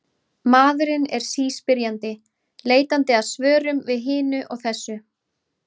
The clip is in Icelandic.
Maðurinn er síspyrjandi, leitandi að svörum við hinu og þessu.